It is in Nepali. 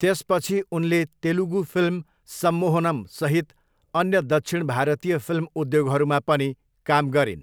त्यसपछि उनले तेलुगु फिल्म सम्मोहनम्सहित अन्य दक्षिण भारतीय फिल्म उद्योगहरूमा पनि काम गरिन्।